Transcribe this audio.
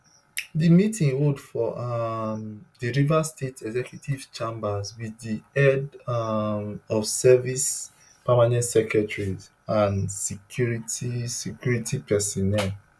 di meeting hold for um di rivers state executive chambers wit di head um of service permanent secretaries and security security personnel